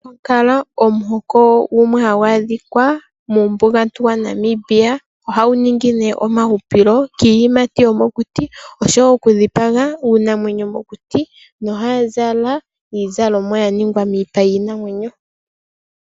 Omukwankala omuhoko gumwe hagu adhika muumbugantu waNamibia. Ohagu ningi ne omahupilo kiiyimati yomokuti oshowo oku dhipaga uunamwenyo mokuti nohaya zala iizalomwa ya ningwa miipa yiinamwenyo.